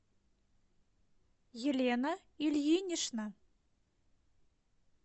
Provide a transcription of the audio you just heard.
елена ильинична